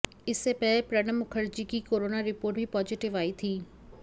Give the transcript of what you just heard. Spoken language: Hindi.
इससे पहले प्रणब मुखर्जी की कोरोना रिपोर्ट भी पॉजिटिव आई थी